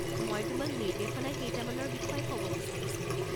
মই তোমাক নিৰ্দেশনা কেইটামানৰ বিষয়ে ক'ব বিচাৰিছিলোঁ।